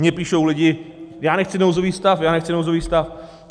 Mně píšou lidi - já nechci nouzový stav, já nechci nouzový stav.